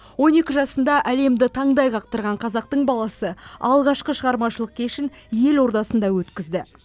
он екі жасында әлемді таңдай қақтырған қазақтың баласы алғашқы шығармашылық кешін ел ордасында өткізді